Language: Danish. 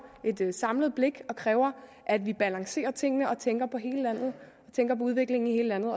det et samlet blik og kræver at vi balancerer tingene og tænker på udviklingen i hele landet